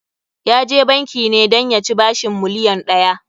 Ya je banki ne dan ya ci bashin miliyon ɗaya.